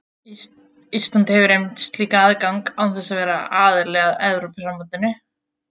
Ísland hefur einmitt slíkan aðgang án þess að vera aðili að Evrópusambandinu.